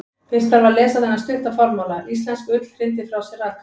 Fyrst þarf að lesa þennan stutta formála: Íslensk ull hrindir frá sér raka.